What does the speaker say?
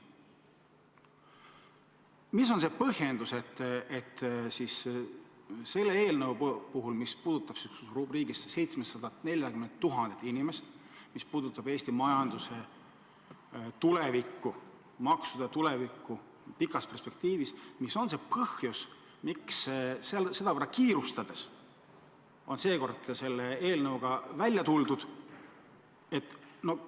Mis on see põhjendus, et selle eelnõuga, mis puudutab 740 000 inimest, mis puudutab Eesti majanduse tulevikku, maksude tulevikku pikas perspektiivis, sedavõrd kiirustades on välja tuldud?